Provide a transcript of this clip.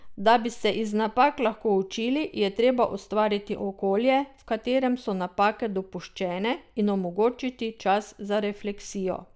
Da bi se iz napak lahko učili, je treba ustvariti okolje, v katerem so napake dopuščene, in omogočiti čas za refleksijo.